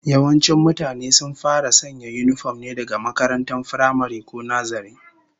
Yawancin mutane sun fara sanya yinifom ne daga makarantar firamare, ko nazare